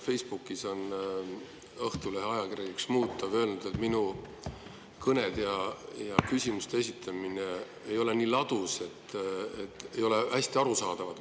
Facebookis on Õhtulehe ajakirjanik Šmutov öelnud, et minu kõned ja küsimused ei ole ladusad, need ei ole hästi arusaadavad.